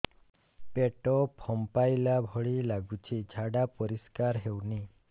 ପେଟ ଫମ୍ପେଇଲା ଭଳି ଲାଗୁଛି ଝାଡା ପରିସ୍କାର ହେଉନି